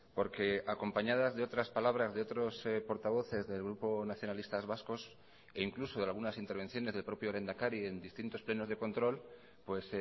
porque acompañadas de otras palabras de otros portavoces del grupo nacionalistas vascos e incluso de algunas intervenciones del propio lehendakari en distintos plenos de control pues